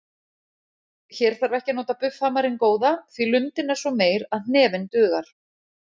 Hér þarf ekki að nota buffhamarinn góða því lundin er svo meyr að hnefinn dugar.